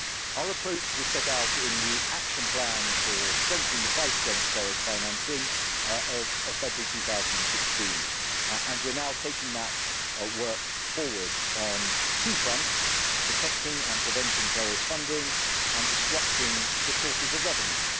Our approach was set out in the Action Plan for strengthening the fight against terrorist financing of February 2016, and we are now taking that work forward on two fronts detecting and preventing terrorist funding, and disrupting the sources of revenue.